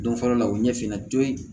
Don fɔlɔ la o ɲɛsinna toli